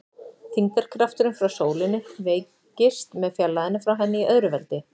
Þyngdarkrafturinn frá sólinni veikist með fjarlægðinni frá henni í öðru veldi.